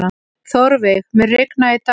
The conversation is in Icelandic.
Þórveig, mun rigna í dag?